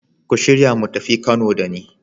Ku shirya mu tafi Kano da ni.